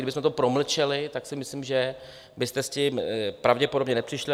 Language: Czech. Kdybychom to promlčeli, tak si myslím, že byste s tím pravděpodobně nepřišli.